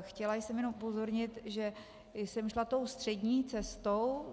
chtěla jsem jenom upozornit, že jsem šla tou střední cestou.